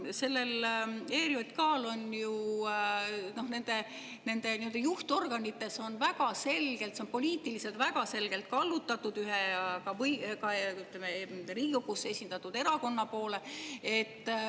Selle ERJK nii-öelda juhtorganid, see on poliitiliselt väga selgelt kallutatud ühe Riigikogus esindatud erakonna poole.